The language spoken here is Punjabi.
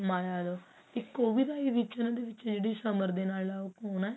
ਮਾਇਆ ਇੱਕ ਉਹ ਵੀ ਤਾਂ ਆਈ ਹੈ ਇਕ ਇਹਨਾਂ ਦੇ ਵਿੱਚ ਜਿਹੜੇ ਸਮਰ ਦੇ ਨਾਲ ਆ ਉਹ ਕੋਣ ਹੈ